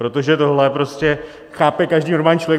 Protože tohle prostě chápe každý normální člověk.